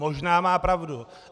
Možná má pravdu.